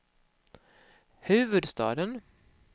huvudstaden